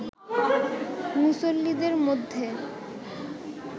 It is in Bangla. মুসল্লীদের মধ্যে